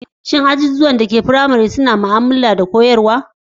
Shin ajujuwan da ke makarantar firamare a halin yanzu suna da allo masu ma'amala da koyarwa?